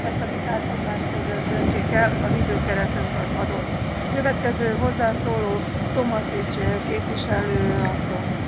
Ezt a vitát egymás között döntsék el, az időkeretünk adott. Következő hozzászóló Tomašić képviselő asszony.